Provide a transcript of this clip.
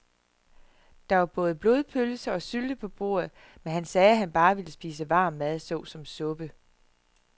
Der var både blodpølse og sylte på bordet, men han sagde, at han bare ville spise varm mad såsom suppe.